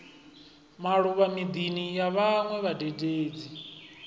maluvha midini ya vhanwe vhadededzi